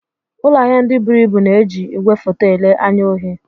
Ụlọ ahịa ndị buru ibu na-eji igwefoto ele anya ohi.